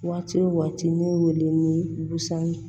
Waati wo waati ne weele ni gusani